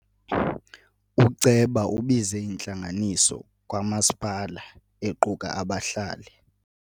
Uceba ubize intlanganiso kamasipala equka abahlali.